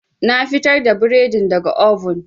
Na fitar da bredin daga oven.